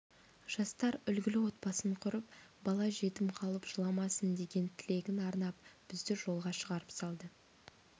жастар үлгілі отбасын құрып бала жетім қалып жыламасын деген тілегін арнап бізді жолға шығарып салды